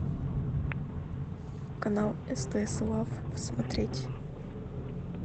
канал стс лав смотреть